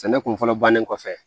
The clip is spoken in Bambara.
Sɛnɛ kun fɔlɔ bannen kɔfɛ